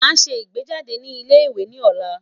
Mo n ṣe igbejade ni ile-iwe ni ọla